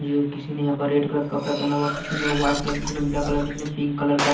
किसी ने यहां पर रेड कलर का कपड़ा पहना हुआ किसी ने व्हाइट कलर किसी ने ब्लैक कलर किसी ने पिंक कलर का--